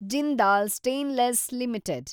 Jindal stainless limited